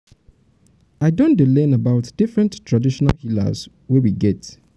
i don dey learn about different traditional healers wey we get.